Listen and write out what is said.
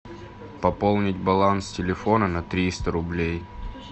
пополнить баланс телефона на триста рублей